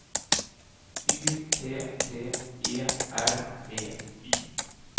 Y T T E R B Y